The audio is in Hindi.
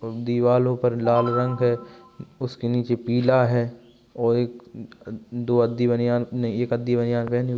दीवालो पर लाल रंग हैं | उसके नीचे पीला है और एक अ दो नहीं एक --